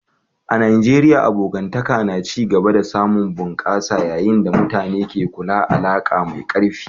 A Najeriya, abokantaka na ci gaba da samun bunƙasuwa yayin da mutane ke kulla alaka mai karfi.